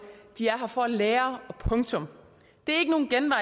er her for at lære punktum det